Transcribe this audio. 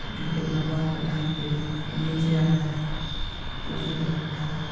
जो की अपना बाल कटाने के लिये नीचे आया है कुर्सी पर बैठा है।